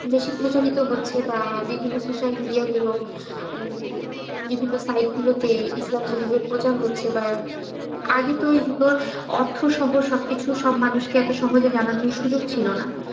বেশি প্রচারিত হচ্ছে বা বিভিন্ন social media গুলো, বিভিন্ন site গুলো তে, ইসলাম যেভাবে প্রচার হচ্ছে তা আগে তো এগুলো এত অর্থসহ সব মানুষকে এত সহজে জানানোর সুযোগ ছিল না।